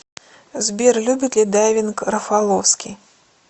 сбер любит ли дайвинг рафаловский